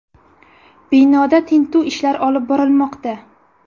Binoda tintuv ishlari olib borilmoqda.